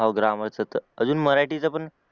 हाव grammar चा त अजून मराठीचा पण